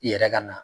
I yɛrɛ ka na